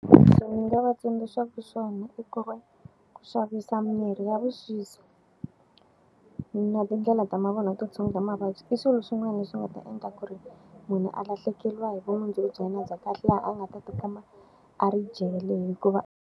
Leswi ni nga va tsundzuxaka swona i ku ri ku xavisa mirhi ya vuxisi na tindlela ta mavun'wa to tshungula mavabyi, i swilo swin'wana leswi nga ta endla ku ri munhu a lahlekeriwa hi vumundzuku bya yena bya kahle, laha a nga ta ti kuma a ri jele hikuva.